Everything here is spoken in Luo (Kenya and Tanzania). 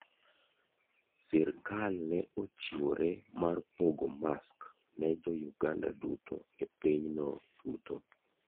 Sirkal ne ochiwore mar pogo mask ne Jo Uganda duto e pinyno duto.